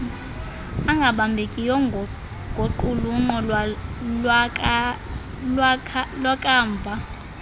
angabambekiyo ngoqulunqo lwakamva